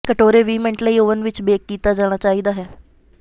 ਕਟੋਰੇ ਵੀਹ ਮਿੰਟ ਲਈ ਓਵਨ ਵਿਚ ਬੇਕ ਕੀਤਾ ਜਾਣਾ ਚਾਹੀਦਾ ਹੈ